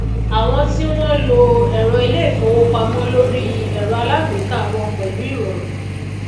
àwọn tí wón lo èrọ ilé ìfowópamó lórí èrọ alágbéká wọn pèlú ìròrùn